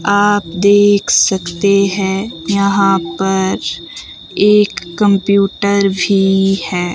आप देख सकते हैं यहां पर एक कंप्यूटर भी है।